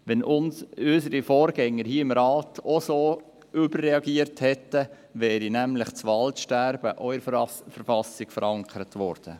Wenn unsere Vorgänger im Rat auch so überreagiert hätten, wäre das Waldsterben in der Verfassung verankert worden.